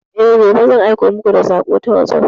E, gobe zan aiko muku da sako ta wasop.